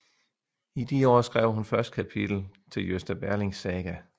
I de år skrev hun første kapitel til Gösta Berlings Saga